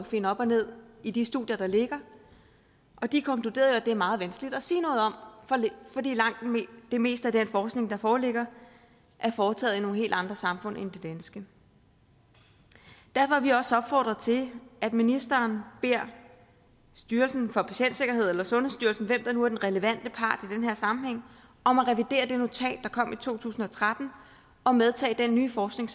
finde op og ned i de studier der ligger og de konkluderede jo at det er meget vanskeligt at sige noget om fordi langt det meste af den forskning der foreligger er foretaget i nogle helt andre samfund end det danske derfor har vi også opfordret til at ministeren beder styrelsen for patientsikkerhed eller sundhedsstyrelsen hvem der nu er den relevante part i den her sammenhæng om at revidere det notat der kom i to tusind og tretten og medtage den nye forskning